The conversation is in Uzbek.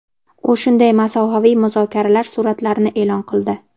U shunday masofaviy muzokaralar suratlarini e’lon qildi.